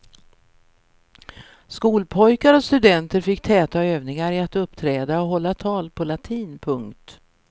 Skolpojkar och studenter fick täta övningar i att uppträda och hålla tal på latin. punkt